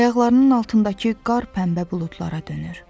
Ayaqlarının altındakı qar pənbə buludlara dönür.